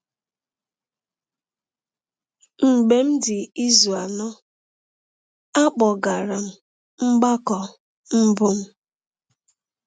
Mgbe m dị izu anọ, a kpọgara m mgbakọ mbụ m.